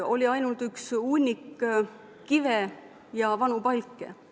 Oli ainult üks hunnik kive ja vanu palke.